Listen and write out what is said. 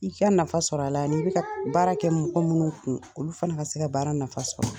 I k'i ka nafa sɔrɔ a la ani i bɛ ka baara kɛ mɔgɔ minnu kun olu fana ka se ka baara nafa sɔrɔ.